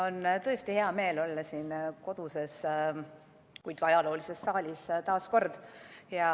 On tõesti hea meel olla taas kord siin koduses, kuid ajaloolises saalis.